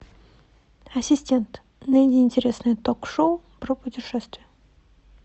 ассистент найди интересное ток шоу про путешествия